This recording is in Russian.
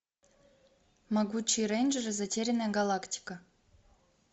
могучие рейнджеры затерянная галактика